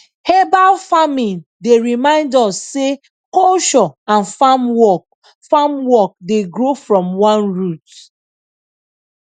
herbal farming dey remind us sey culture and farm work farm work dey grow from one root